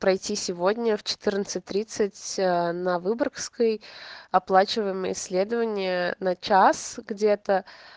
пройти сегодня в четырнадцать тридцать на выборгской оплачиваем исследование на час где-то